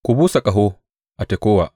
Ku busa ƙaho a Tekowa!